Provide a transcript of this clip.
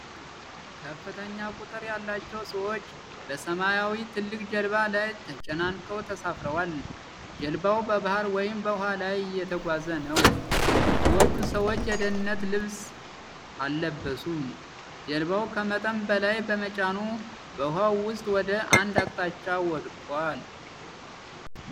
ከፍተኛ ቁጥር ያላቸው ሰዎች በሰማያዊ ትልቅ ጀልባ ላይ ተጨናንቀው ተሳፍረዋል። ጀልባው በባህር ወይም በውሃ ላይ እየተጓዘ ነው። ብዙዎቹ ሰዎች የደህንነት ልብስ አልለበሱም፤ ጀልባው ከመጠን በላይ በመጫኑ በውሃው ውስጥ ወደ አንድ አቅጣጫ ወድቆአል።